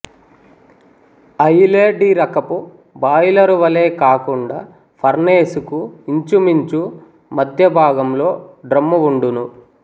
అయిలే డిరకపు బాయిలరు వలె కాకుండా ఫర్నేసుకు ఇంచుమించు మధ్య భాగంలో డ్రమ్ము వుండును